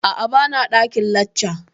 Aa, ba na ɗakin lacca